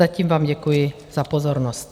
Zatím vám děkuji za pozornost.